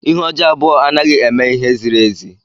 Ihe ọjọọ abụọ anaghị eme ihe ziri ezi.